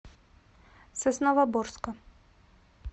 сосновоборска